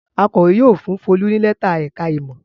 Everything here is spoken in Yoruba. Akọ̀wé yóò fún Folú ní lẹ́tà ẹ̀ka-ìmọ̀.